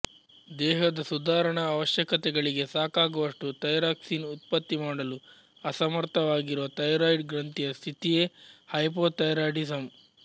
ದೇಹದ ಸುದಾರಣಾ ಅವಶ್ಯಕತೆಗಳಿಗೆ ಸಾಕಾಗುವಷ್ಟು ಥೈರಾಕ್ಸಿನ್ ಉತ್ಪತ್ತಿ ಮಾಡಲು ಅಸಮರ್ಥವಾಗಿರುವ ಥೈರಾಯಿಡ್ ಗ್ರಂಥಿಯ ಸ್ಥಿತಿಯೇ ಹೈಪೋಥೈರಾಯಿಡಿಸಮ್